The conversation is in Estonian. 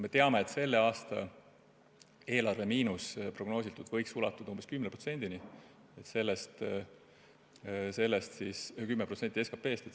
Me teame, et selle aasta eelarve miinus võib prognoos järgi ulatuda umbes 10%-ni SKP-st.